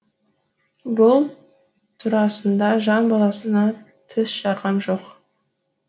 бұл турасында жан баласына тіс жарғам жоқ